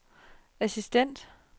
assistent